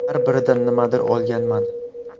Har biridan nimadir olganman.